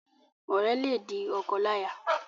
Ọrẹ le di ọkọláya.